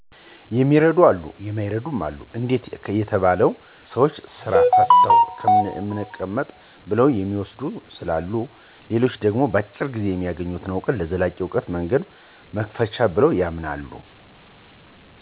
የሚረዱ አሉ የማይረድም አሉ፤ አንዴት ለተባለው ሰዎች ስራ ፈተን ከምንቀመጥ ብለው የሚዎስዱ ስላሉ የዉ። ሌላኛች ደሞ በአጭር ጊዜ በሚያገኙት አውቀት ለዘላቂ አውቀት መንገድ መክፈቻ ብለው ያምናሉ።